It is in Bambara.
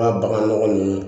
Ka bagan nɔgɔ ni